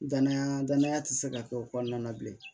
Danaya danaya ti se ka kɛ o kɔnɔna na bilen